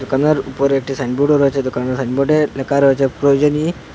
দোকানের উপর একটি সাইনবোর্ডও রয়েছে দোকান সাইনবোর্ডে লেখা রয়েছে প্রয়োজনী--